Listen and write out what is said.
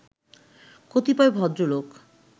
কতিপয় ভদ্রলোক